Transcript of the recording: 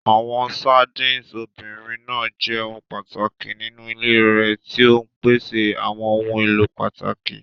Àwọn sardines obìnrin náà jẹ́ ohun pàtàkì nínú ilé rẹ̀, tí ó ń pèsè àwọn ohun èlò pàtàkì.